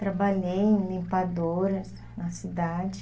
Trabalhei em limpadoras na cidade.